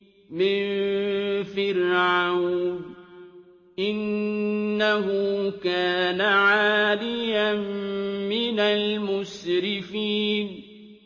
مِن فِرْعَوْنَ ۚ إِنَّهُ كَانَ عَالِيًا مِّنَ الْمُسْرِفِينَ